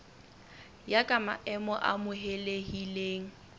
ya ka maemo a amohelehileng